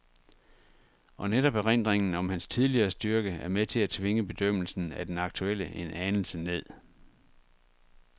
Og netop erindringen om hans tidligere styrke er med til at tvinge bedømmelsen af den aktuelle en anelse ned.